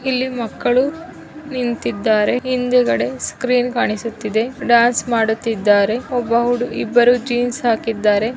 ಇಲ್ಲಿ ಮಕ್ಕಳು ನಿಂತಿದ್ದಾರೆ. ಹಿಂದುಗಡೆ ಸ್ಕ್ರೀನ್ ಕಾಣಿಸುತ್ತಿದೆ. ಡಾನ್ಸ್ ಮಾಡುತಿದ್ದಾರೆ. ಒಬ್ಬ ಹೂಡು ಇಬ್ಬರು ಜೀನ್ಸ್ ಹಾಕಿದ್ದಾರೆ.